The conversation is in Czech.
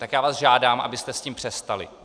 Tak já vás žádám, abyste s tím přestali!